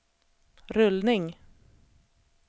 rullning